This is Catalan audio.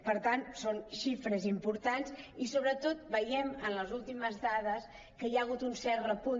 per tant són xi·fres importants i sobretot veiem en les últimes dades que hi ha hagut un cert repunt